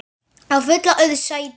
að fylla auð sæti.